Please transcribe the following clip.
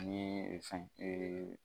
Ani fɛn